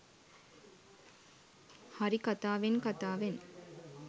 හරි කතාවෙන් කතාවෙන්